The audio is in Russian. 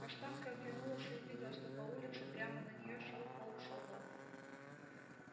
каштанка оглянулась и увидела что по улице прямо на неё шёл полк солдат